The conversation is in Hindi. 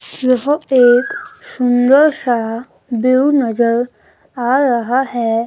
यह एक सुंदर सा व्यू नजर आ रहा हैं।